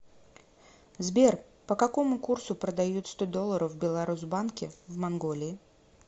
сбер по какому курсу продают сто долларов в беларусбанке в манголии